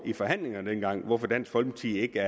i forhandlingerne dengang spurgte hvorfor dansk folkeparti ikke